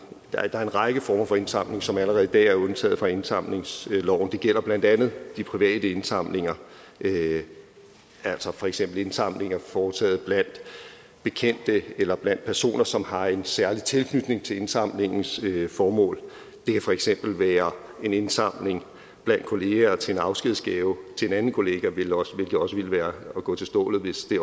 er en række former for indsamlinger som allerede i dag er undtaget fra indsamlingsloven det gælder blandt andet de private indsamlinger altså for eksempel indsamlinger foretaget blandt bekendte eller blandt personer som har en særlig tilknytning til indsamlingens formål det kan for eksempel være en indsamling blandt kollegaer til en afskedsgave til en anden kollega hvilket også ville være at gå til stålet hvis det